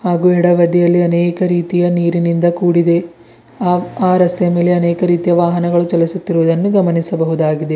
ಹಾಗು ಎಡಬದಿಯಲ್ಲಿ ಅನೇಕ ರೀತಿಯ ನೀರಿನಿಂದ ಕೂಡಿದೆ ಹಾಗು ಆ ರಸ್ತೆಯ ಮೇಲೆ ಅನೇಕ ರೀತಿಯ ವಾಹನಗಳು ಚಲಿಸುತ್ತಿರುವುದನ್ನು ಗಮನಿಸಬಹುದಾಗಿದೆ.